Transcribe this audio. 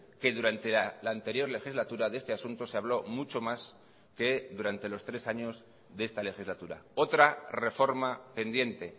que durante la anterior legislatura de este asunto se habló mucho más que durante los tres años de esta legislatura otra reforma pendiente